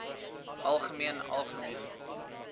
algemeen algemeen